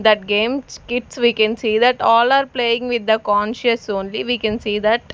That games kids we can see that all are playing with the conscious only we can see that.